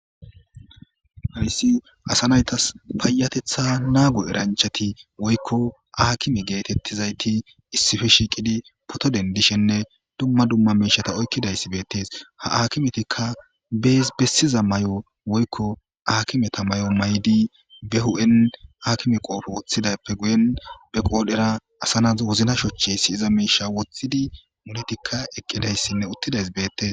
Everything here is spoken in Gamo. Hayssi asa naytas payatetha naagu eranchati woykko aakimi geetettizayti issife shiiqidi poto dendishenne dumma dumma meishata oykkidayssi bettes ha akimetikka bees bessiza may7o woykko akimeta may7on may7di be hu7en hakime qoofo woththidappe guyen be qoodhera asanaz wozna shochey siyiza meisha woththidi munetikka eqqidayssinne uttidays beettes.